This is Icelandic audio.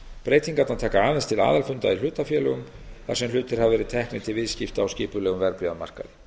breytingarnar taka aðeins til aðeins til aðalfunda í hlutafélögum þar sem hlutir hafa verið teknir til viðskipta á skipulegum verðbréfamarkaði